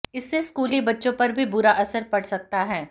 इससे स्कूली बच्चों पर भी बुरा असर पड़ सकता है